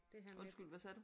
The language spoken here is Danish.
Undskyld hvad sagde du?